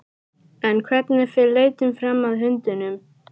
En hvernig fer leitin fram að hundunum?